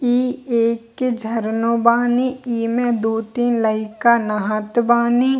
इ एक झरनो बानी इमे दो तीन लईका नहात बानी ।